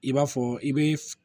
I b'a fɔ i be f